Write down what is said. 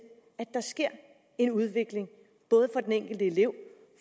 at der sker en udvikling både for den enkelte elev